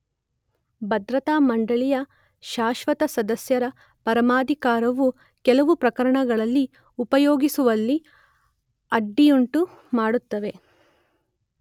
ಭದ್ರತಾ ಮಂಡಳಿಯ ಶಾಶ್ಸ್ವತ ಸದಸ್ಯರ ಪರಮಾಧಿಕಾರವು ಕೆಲವು ಪ್ರಕರಣಗಳಲ್ಲಿ ಉಪಯೋಗಿಸುವಲ್ಲಿ ಅಡ್ಡಿಯುಂಟು ಮಾಡುತ್ತವೆ.